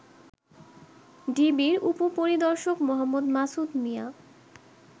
ডিবির উপ পরিদর্শক মো. মাসুদ মিয়া